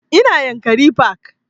Ina yankari park